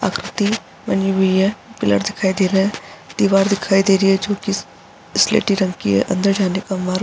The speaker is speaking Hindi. आकृति बनी हुई है पिलर दिखाई दे रहे है दीवार दिखाई दे रही है जो की स्लेटी रंग की है अंदर जाने का मार्ग --